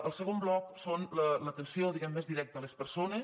el segon bloc són l’atenció diguem més directa a les persones